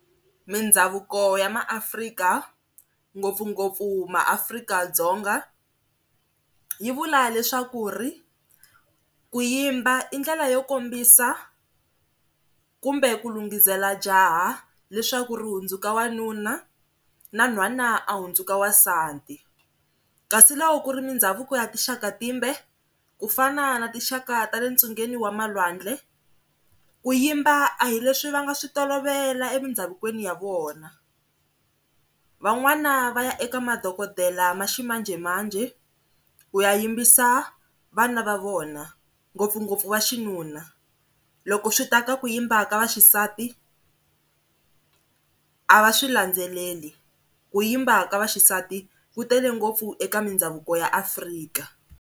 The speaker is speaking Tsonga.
Mindhavuko ya maAfrika ngopfungopfu maAfrika-Dzonga yi vula leswaku ri ku yimba i ndlela yo kombisa kumbe ku lunghisela jaha leswaku ri hundzuka wanuna na nhwana a hundzuka wansati. Kasi loko ku ri mindhavuko ya tinxaka timbe ku fana na tinxaka tale ntsungeni wa malwandle ku yimba a hi leswi va nga swi tolovela emidhavukweni ya vona, van'wana va ya eka madokodela ma ximanjhemanjhe ku ya yimbisa vana va vona ngopfungopfu va xinuna loko swi ta ka ku yimba ka vaxisati a va swi landzeleli, ku yimba ka vaxisati ku tele ngopfu eka mindhavuko ya Afrika.